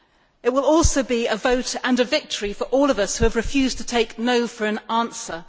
It will also be a vote and a victory for all of us who have refused to take no' for an answer.